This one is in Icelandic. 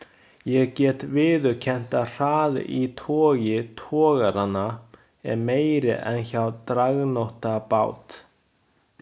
Ég get viðurkennt að hraði í togi togaranna er meiri en hjá dragnótabát.